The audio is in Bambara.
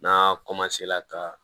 N'a ka